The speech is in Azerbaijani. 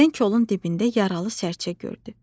Birdən kolun dibində yaralı sərçə gördü.